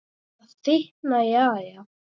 Það þykknar í Ara